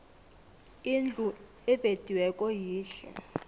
indlu evediweko yihle